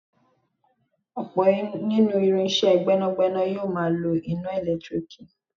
Ọ̀pọ̀ nínú irinsé gbẹ́nàgbẹ́nà yóò máa lọ iná ẹ̀lẹ́tírìkì